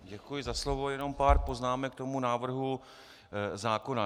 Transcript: Děkuji za slovo, jenom pár poznámek k tomu návrhu zákona.